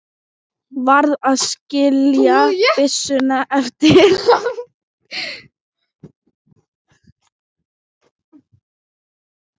Varð að skilja byssuna eftir.